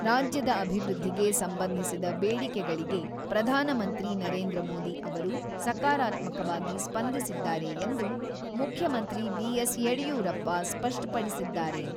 ರಾಜ್ಯದ ಅಭಿವೃದ್ಧಿಗೆ ಸಂಬಂಧಿಸಿದ ಬೇಡಿಕೆಗಳಿಗೆ ಪ್ರಧಾನಮಂತ್ರಿ ನರೇಂದ್ರ ಮೋದಿ ಅವರು ಸಕಾರಾತ್ಮಕವಾಗಿ ಸ್ಪಂದಿಸಿದ್ದಾರೆ ಎಂದು, ಮುಖ್ಯಮಂತ್ರಿ ಬಿ.ಎಸ್.ಯಡಿಯೂರಪ್ಪ ಸ್ಪಷ್ಟಪಡಿಸಿದ್ದಾರೆ.